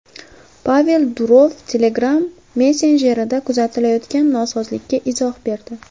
Pavel Durov Telegram messenjerida kuzatilayotgan nosozlikka izoh berdi.